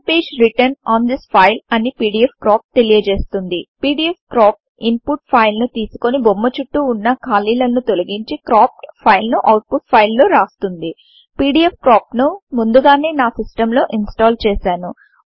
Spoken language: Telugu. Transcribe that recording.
ఓనే page written on this file అని పీడీఎఫ్క్రాప్ తెలియచేస్తుంది పీడీఎఫ్క్రాప్ ఇన్పుట్ ఫైల్ ని తీసుకొని బొమ్మచుట్టు వున్న ఖాళీలను తొలగించి క్రాప్డ్ ఫైల్ ను ఔట్పుట్ fileలో రాస్తుంది పీడీఎఫ్క్రాప్ ను ముందుగానే నా సిస్టం లో ఇన్స్టాల్ చేశాను